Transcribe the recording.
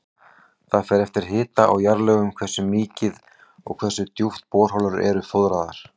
Það fer eftir hita og jarðlögum hversu mikið og hversu djúpt borholur eru fóðraðar.